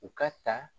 U ka ta